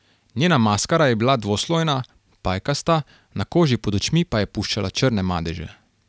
Njena maskara je bila dvoslojna, pajkasta, na koži pod očmi pa je puščala črne madeže.